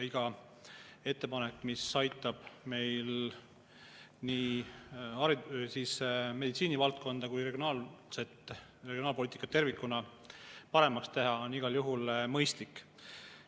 Iga ettepanek, mis aitab meil nii meditsiinivaldkonda kui ka regionaalpoliitikat tervikuna paremaks teha, on igal juhul mõistlik.